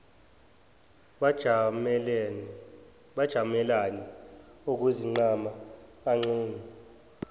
bajamelane okwezinqama agxume